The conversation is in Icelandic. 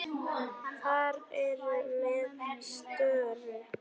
Þeir eru með störu.